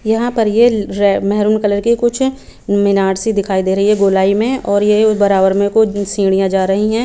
यहां पर ये मैहरून कलर के कुछ मीनारसी दिखाई दे रही है गोली में और यह बराबर में कोइ सीढ़ियां जा रहीं हैं।